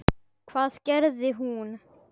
Hvað gerði hún?